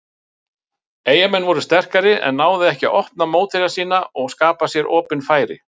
Eyjamenn voru sterkari en náðu ekki að opna mótherja sína og skapa sér opin færi.